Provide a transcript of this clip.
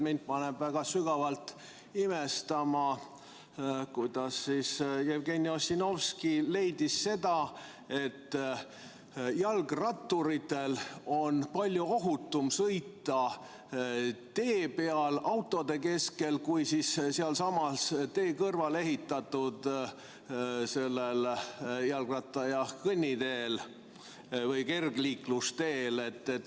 Mind paneb sügavalt imestama, kuidas Jevgeni Ossinovski leidis, et jalgratturitel on palju ohutum sõita tee peal autode keskel, kui tee kõrvale ehitatud jalgratta- ja kõnniteel või kergliiklusteel.